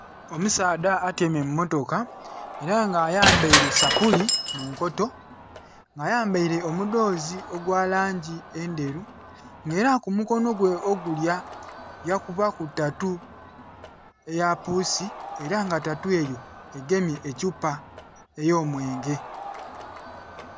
Omusaadha atyaime mummotoka era nga ayambaire esapuli munkoto nga ayambaire omudhoze ogwalangi endheru nga era kumukono gwe ogulya yakubaku tatu eya puusi era nga tatu eyo egemye ethupa eyomwenge.